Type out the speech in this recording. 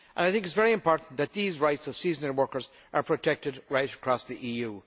It is very important that these rights of seasonal workers are protected right across the EU.